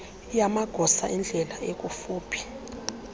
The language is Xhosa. yamagosa endlela ekufuphi